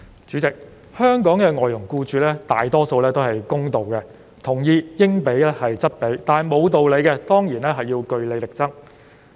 主席，香港外傭僱主大多數是公道的，他們同意應付則付，但對於不合理的費用，當然要據理力爭。